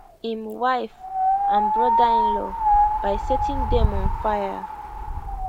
im wife and brotherinlaw by setting dem on fire